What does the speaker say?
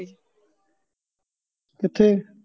ਕਿਥੈ